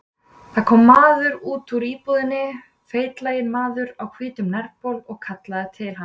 Það kom maður út úr íbúðinni, feitlaginn maður á hvítum nærbol, og kallaði til hans.